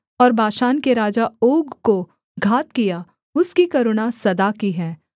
और बाशान के राजा ओग को घात किया उसकी करुणा सदा की है